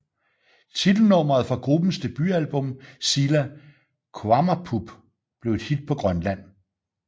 Titelnummeret fra gruppens debutalbum Sila Qaammareerpoq blev et hit på Grønland